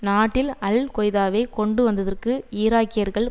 நாட்டில் அல் கொய்தாவை கொண்டுவந்ததற்கு ஈராக்கியர்கள்